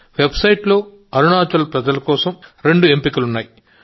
website లో అరుణాచల్ ప్రజల కోసం రెండు ఎంపికలు ఉన్నాయి